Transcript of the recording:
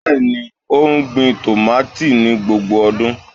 Bẹẹni, o gbin tomati ni gbogbo ọdun